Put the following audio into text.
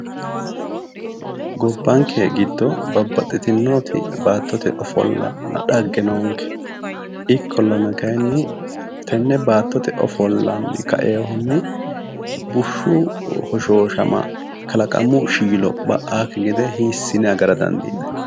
Gobbanke giddo babbaxxitino baattote ofollanna dhagge noonke ikkollana kayiinni tenne baattote ofollanni ka''eyoohunni bushshu hoshooshama kalaqamu shiilo ba'akki gede hiissine agarrayi?